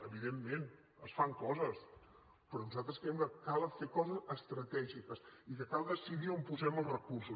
evidentment es fan coses però nosaltres creiem que cal fer coses estratègiques i que cal decidir on posem els recursos